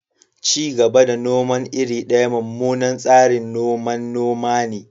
Ci gaba da noman iri daya mummunan tsarin noman noma ne.